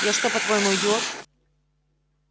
я что по-твоему идиот